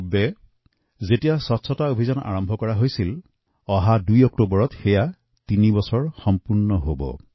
আমি যি স্বচ্ছতা অভিযান আৰম্ভ কৰিছিলো অহা ২ অক্টোবৰত ইয়াৰ তৃতীয় বৰ্ষপূৰ্তি হব